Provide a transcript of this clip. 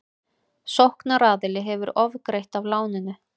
Sóknaraðili hefði ofgreitt af láninu